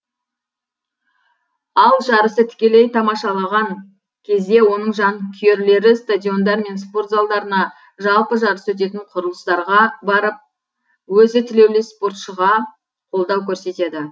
ал жарысты тікелей тамашалаған кезде оның жанкүйерлері стадиондар мен спорт залдарына жалпы жарыс өтетін құрылыстарға барып өзі тілеулес спортшыға қолдау көрсетеді